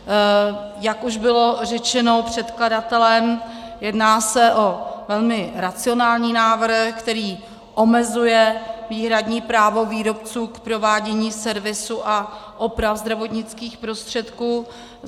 Jak už bylo řečeno předkladatelem, jedná se o velmi racionální návrh, který omezuje výhradní právo výrobců k provádění servisu a oprav zdravotnických prostředků.